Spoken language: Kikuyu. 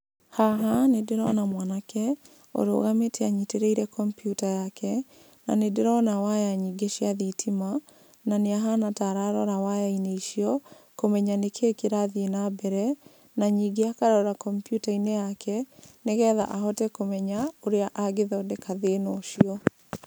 Haha nĩ ndĩrona mwanake ũrũgamĩte anyitĩrĩire kompiuta yake, na nĩ ndĩrona waya nyingĩ cia thitima, na nĩ ahana ta ararora waya-inĩ icio kũmenya nĩ kĩ kĩrathiĩ na mbere, na ningĩ akaroraa kompiuta-inĩ yake, nĩgetha ahote kũmenya ũrĩa angĩthondeka thĩna ũcio.